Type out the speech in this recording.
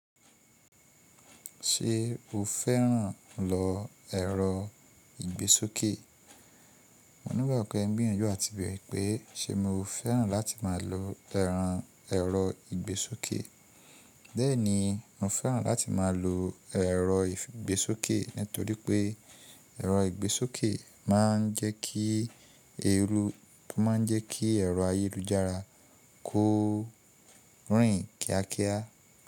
Ṣé o fẹ́ràn lọ ẹ̀rọ ìgbésókè? Mo ní'gbàgbọ́ pé ẹ́ n gbìyànjú àti bèrè pé ṣe mo fẹ́ràn láti máa lo ẹran ẹ̀rọ ìgbésókè. Bẹ́ẹ̀ni, mo fẹ́ràn láti máa lo ẹ̀rọ ìgbésókè nítorí pé ẹ̀rọ ìgbésókè máa ń jẹ́ kí èrò ayélujára kó rìn kíákíá.